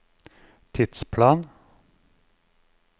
tidsplan